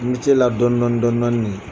la dɔni dɔni dɔni minɛ.